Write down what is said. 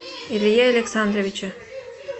илье александровиче